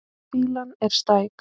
Fýlan er stæk.